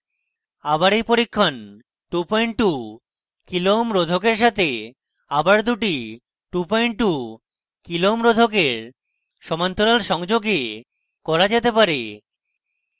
আবার এই পরীক্ষণ 22k ω kilo ohms রোধকের সাথে আবার দুটি 22k ω kilo ohms রোধকের সমান্তরাল সংযোগে করা যেতে পারে